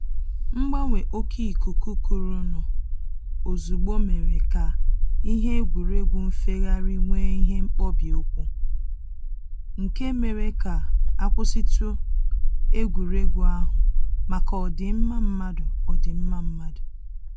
Mgbanwe oke ikuku kurunu ozugbo mere ka ihe egwuregwu nfegharị nwee ihe mkpọbi ụkwụ, nke mere ka a kwụsịtụ egwuregwu ahụ maka ọ dịmma mmadụ ọ dịmma mmadụ